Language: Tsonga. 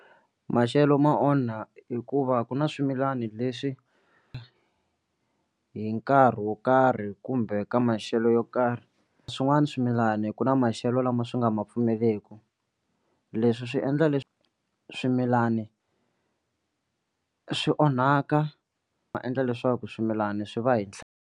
Maxelo ma onha hikuva ku na swimilani leswi hi nkarhi wo karhi kumbe ka maxelo yo karhi swin'wani swimilani ku na maxelo lama swi nga ma pfumeleku leswi swi endla leswi swimilani swi onhaka ma endla leswaku swimilana swi va hi .